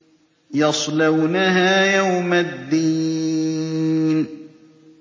يَصْلَوْنَهَا يَوْمَ الدِّينِ